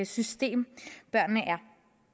system børnene er